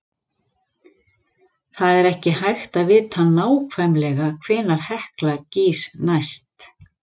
Það er ekki hægt að vita nákvæmlega hvenær Hekla gýs næst.